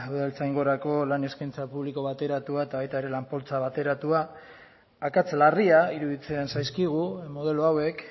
udaltzaingorako lan eskaintza publiko bateratua eta baita ere lan poltsa bateratua akats larria iruditzen zaizkigu modelo hauek